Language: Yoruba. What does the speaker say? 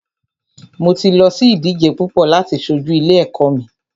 Mo ti lọ sí ìdíje púpọ láti ṣojú ilé ẹ̀kọ́ mi.